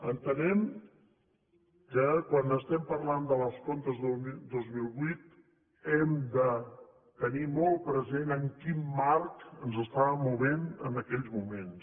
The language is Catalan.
entenem que quan estem parlant dels comptes dos mil vuit hem de tenir molt present en quin marc ens estàvem movent en aquells moments